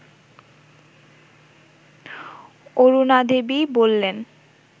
অরুণাদেবী বললেন